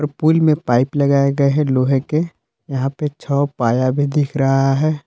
Pool में pipe लगाए गए हैं लोहे के यहां पे छ पाया भी दिख रहा है।